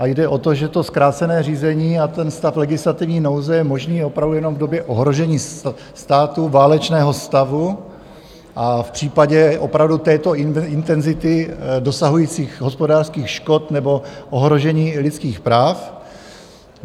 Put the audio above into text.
A jde o to, že to zkrácené řízení a ten stav legislativní nouze je možný opravdu jenom v době ohrožení státu, válečného stavu a v případě opravdu této intenzity dosahujících hospodářských škod nebo ohrožení lidských práv.